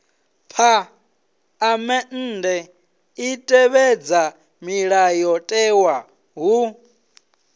phaḽamennde i tevhedza mulayotewa hu